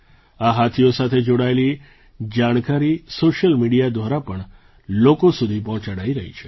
આ હાથીઓ સાથે જોડાયેલી જાણકારી સૉશિયલ મીડિયા દ્વારા પણ લોકો સુધી પહોંચાડાઈ રહી છે